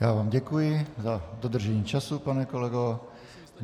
Já vám děkuji za dodržení času, pane kolego.